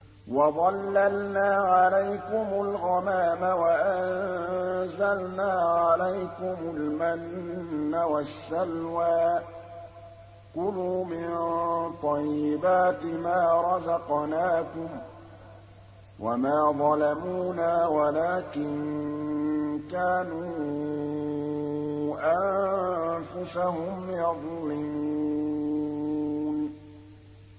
وَظَلَّلْنَا عَلَيْكُمُ الْغَمَامَ وَأَنزَلْنَا عَلَيْكُمُ الْمَنَّ وَالسَّلْوَىٰ ۖ كُلُوا مِن طَيِّبَاتِ مَا رَزَقْنَاكُمْ ۖ وَمَا ظَلَمُونَا وَلَٰكِن كَانُوا أَنفُسَهُمْ يَظْلِمُونَ